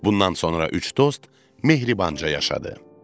Bundan sonra üç dost mehribanca yaşadı.